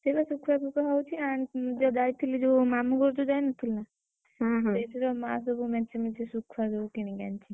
ସେଇବା ଶୁଖୁଆ ପୂଖୁଆ ଆଁ ଯୋଉ ଯାଇଥିଲି ଯୋଉ ମାମୁଁ ଘରକୁ ଯୋଉ ଯାଇନଥିଲି ନା? ସେଇଥିରେ ମାଆ ସବୁ ମେଞ୍ଚେମେଞ୍ଚେ ଶୁଖୁଆ ସବୁ କିଣିକି ଆଣିଛି।